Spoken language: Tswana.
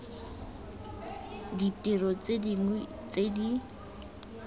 ditiro tse dingwe tse di